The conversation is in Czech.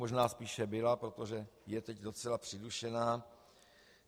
Možná spíše byla, protože je teď docela přidušená.